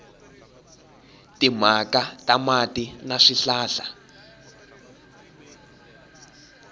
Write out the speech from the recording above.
timhaka ta mati na swihlahla